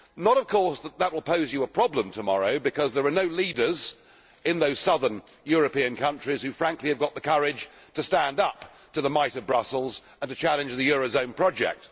Not, of course, that that will pose you a problem tomorrow, because there are no leaders in those southern European countries who, frankly, have got the courage to stand up to the might of Brussels and challenge the euro zone project.